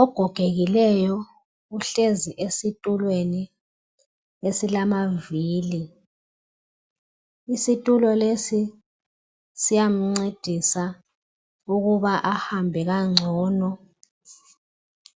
Ogogekileyo uhlezi esitulweni esilamavili. Isitulo lesi siyamncedisa ukuba ahambe kangcono